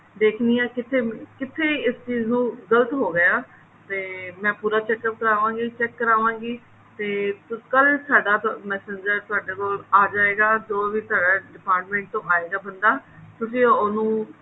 ਦੇਖਦੀ ਹਾਂ ਕਿੱਥੇ ਕਿੱਥੇ ਇਸ ਚੀਜ ਨੂੰ ਗਲਤ ਹੋ ਗਿਆ ਤੇ ਮੈਂ ਪੂਰਾ check ਕਰਾਵਾਂਗੀ check ਕਰਾਵਾਂਗੀ ਤੇ ਕੱਲ ਸਾਡਾ messenger ਤੁਹਾਡੇ ਕੋਲ ਆ ਜਾਏਗਾ ਜੋ ਵੀ department ਤੋਂ ਆਏਗਾ ਬੰਦਾ ਤੁਸੀਂ ਉਹਨੂੰ